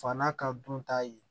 Fa n'a ka dun ta ye